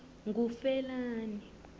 ngufelani